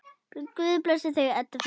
Guð blessi þig, Edda frænka.